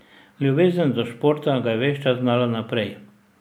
Ljubezen do športa ga je ves čas gnala naprej.